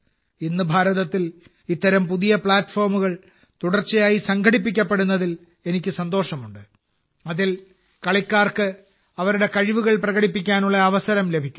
ഇന്ന് ഭാരതത്തിൽ അത്തരം പുതിയ പ്ലാറ്റ്ഫോമുകൾ തുടർച്ചയായി സംഘടിപ്പിക്കപ്പെടുന്നതിൽ എനിക്ക് സന്തോഷമുണ്ട് അതിൽ കളിക്കാർക്ക് അവരുടെ കഴിവുകൾ പ്രകടിപ്പിക്കാനുള്ള അവസരം ലഭിക്കുന്നു